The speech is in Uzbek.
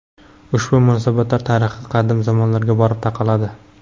Ushbu munosabatlar tarixi qadim zamonlarga borib taqaladi.